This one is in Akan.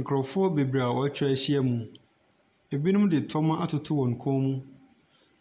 Nkorofoɔ bebree a watwa ahyia mu, ɛbinom de toma atoto wɔn kɔn mu,